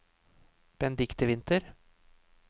Benedikte Winther